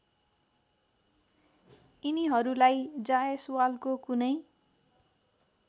यिनीहरूलाई जायसवालको कुनै